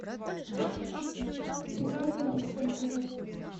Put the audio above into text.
виктория александровна